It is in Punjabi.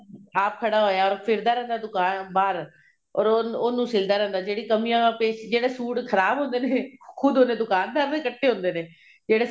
ਆਪ ਖੜਾ ਹੋਇਆ ਫਿਰਦਾ ਰਹਿੰਦਾ ਬਾਹਰ or ਉਹਨੂੰ ਸਿਲਦਾ ਰਹਿੰਦਾ ਜਿਹੜੀ ਕਮੀਆਂ ਪੈ ਜਿਹੜੇ ਸੂਟ ਖਰਾਬ ਹੁੰਦੇ ਨੇ ਖੁਦ ਉਹਦੇ ਦੁਕਾਨਦਾਰ ਦੇ ਕੱਟੇ ਹੁੰਦੇ ਨੇ ਜਿਹੜੇ